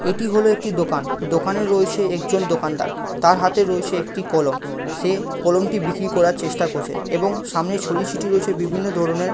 এটি হলো একটি দোকান। দোকানে রয়েছে একজন দোকানদার। তার হাতে রয়েছে একটি কলম। সে কলমটি বিক্রি করার চেষ্টা করছে এবং সামনে ছড়িয়ে ছিটিয়ে রয়েছে বিভিন্ন ধরণের--